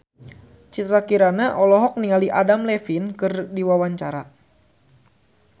Citra Kirana olohok ningali Adam Levine keur diwawancara